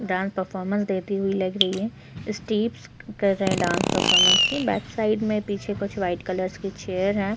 Dance performance देती हुई लग रही है स्टिप्स कर रहै है डांस परफॉर्मेंस के बैक साइड में पीछे कुछ वाइट कलर्स के चेयर हैं।